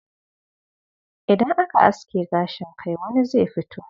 Idan aka aske gashin kai, wani zai fito.